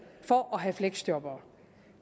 for at have fleksjobbere